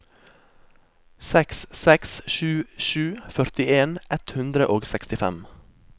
seks seks sju sju førtien ett hundre og sekstifem